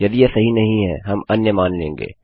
यदि यह सही नहीं है हम अन्य मान लेंगे